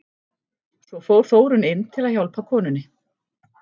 Svo fór Þórunn inn til að hjálpa konunni.